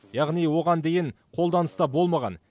яғни оған дейін қолданыста болмаған